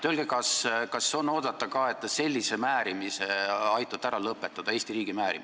Öelge, kas on oodata ka, et te sellise Eesti riigi maine määrimise aitate ära lõpetada?